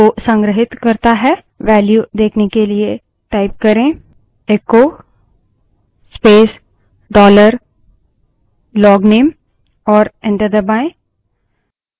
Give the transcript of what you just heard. value देखने के लिए type करे echo space dollar logname और enter दबायें